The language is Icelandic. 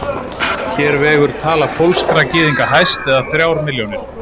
Hér vegur tala pólskra gyðinga hæst, eða þrjár milljónir.